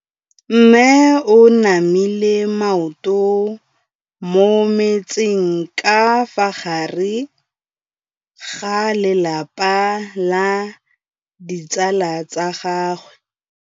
Mme o namile maoto mo mmetseng ka fa gare ga lelapa le ditsala tsa gagwe.